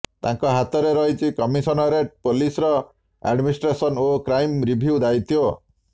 ତାଙ୍କ ହାତରେ ରହିଛି କମିଶନରେଟ ପୋଲିସର ଆଡମିନିଷ୍ଟ୍ରେସନ ଓ କ୍ରାଇମ୍ ରିଭ୍ୟୁ ଦାୟିତ୍ୱ